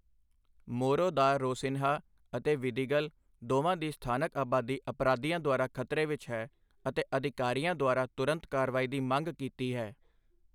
ਮੋਰੋ ਦਾ ਰੋਸਿਨਹਾ ਅਤੇ ਵਿਦੀਗਲ ਦੋਵਾਂ ਦੀ ਸਥਾਨਕ ਅਬਾਦੀ ਅਪਰਾਧੀਆਂ ਦੁਆਰਾ ਖਤਰੇ ਵਿੱਚ ਹੈ, ਅਤੇ ਅਧਿਕਾਰੀਆਂ ਦੁਆਰਾ ਤੁਰੰਤ ਕਾਰਵਾਈ ਦੀ ਮੰਗ ਕੀਤੀ ਹੈ।